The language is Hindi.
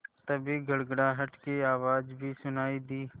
तभी गड़गड़ाहट की आवाज़ भी सुनाई दी